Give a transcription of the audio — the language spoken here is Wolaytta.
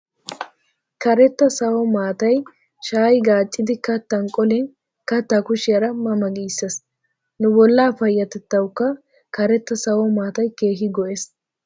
Karetta sawo maatay shaayi gaacciiddi kattan qolin kattaa kushiyaara ma ma giisses. Nu bollaa payyatettawukka karetta sawo maatay keehi go'ees.